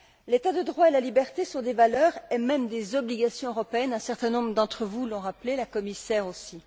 L'état de droit et la liberté sont des valeurs et même des obligations européennes un certain nombre d'entre vous l'ont rappelé, la commissaire aussi.